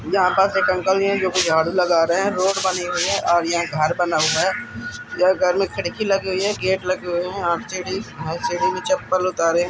यहाँ पास एक अंकल भी है जो कि झाड़ू लगा रहे हैं। रोड बनी हुई है और ये घर बना हुआ है। यह घर में खिड़की लगी हुई है। गेट लगे हुए हैं और सीढ़ी सीढ़ी में चप्पल उतारे --